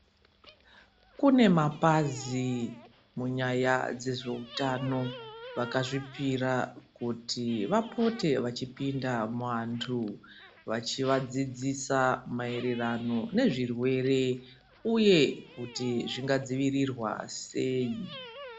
Kune mapàzi munyaya dzezveutano vakazvipírà kuti vapote vachipinda muantu vachiadzidzisa maereranó nezvirwere uye kuti zvingadzivirirwa sei.